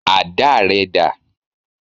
Àdá rẹ dà?